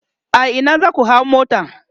a Ina zaku hau mota?